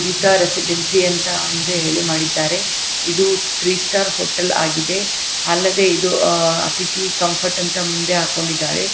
ಗೀತಾ ರೇಸಿಡೆನ್ಮಾಸಿ ಅಂತ--ಅಂತ ಹೇಳಿ ಮಡಿದ್ದರೆ ಇದು ತ್ರೀ ಸ್ಟಾರ್ ಹೋಟಲ್ ಆಗಿದೆ ಅಲ್ಲದೆ ಇದು ಅತಿತಿ ಕಮ್ಫರ್ಟ್ ಅಂತ ಮುಂದೆ ಹಾಕ್ಕೊಂಡಿದ್ದಾರೆ.